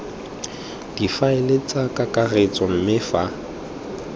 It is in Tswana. difaele tsa kakaretso mme fa